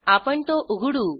आपण तो उघडू